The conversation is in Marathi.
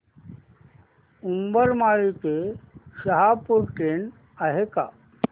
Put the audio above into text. उंबरमाळी ते शहापूर ट्रेन आहे का